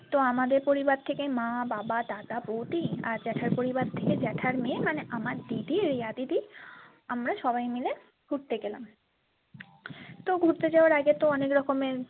তো আমাদের পরিবার থেকে মা বাবা দাদা বৌদি আর জ্যাঠার পরিবার থেকে জ্যাঠার মেয়ে মানে আমার দিদি রিয়া দিদি আমরা সবাই মিলে ঘুরতে গেলাম তো ঘুরতে যাবার আগে তো অনেক রকমের।